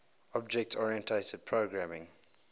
object oriented programming